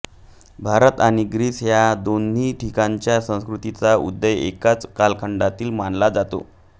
भारत आणि ग्रीस या दोन्ही ठिकाणच्या संस्कृतींचा उदय एकाच कालखंडातील मानला जातो